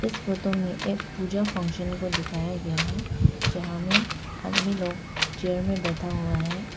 इस फोटो में एक पूजा फंक्शन को दिखाया गया है जहां में आदमी लोग चेयर में बैठा हुआ है।